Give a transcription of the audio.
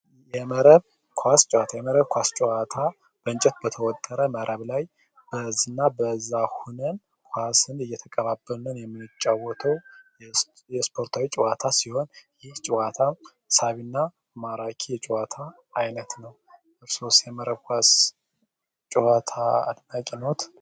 የመረብ ኳስ ጨዋታ የመረብ ኳስ ጨዋታ በእንጨት በተወጠረ መረብ ላይ በእዝ እና በዛሁነን ኳስን እየተቀባበልን የምንጫወተው የስፖርታዊ ጨዋታ ሲሆን ይህ ጨዋታም ሳቢ እና ማራኪ የጨዋታ አይነት ነው። እርሶስ የመረብ ኳስ ጨዋታ አድናቂ ነዎት?